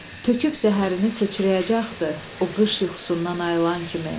Töküb zəhərini sıçrayacaqdı o qış yuxusundan ayılan kimi.